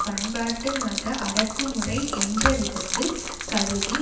பண்பாட்டு மத அடக்குமுறை என்ற விதத்தில் கருதி